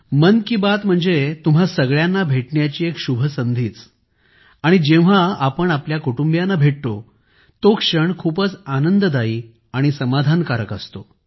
मन की बात म्हणजे तुम्हां सगळ्यांना भेटण्याची एक शुभ संधीच आणि जेव्हा आपण आपल्या कुटुंबियांना भेटतो तो क्षण खूपच आनंददायी आणि समाधानकारक असतो